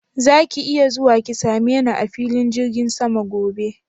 Zaki iya zuwa ki same ni a filin jirgin sama gobe?